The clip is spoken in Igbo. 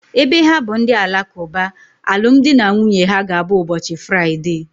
Ebe ha bụ ndị Alakuba, alụmdi na nwunye ha ga abụ ụbọchị Fraịdee